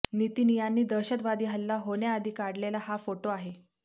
नितीन यांनी दहशतवादी हल्ला होण्याआधी काढलेला हा फोटो आहे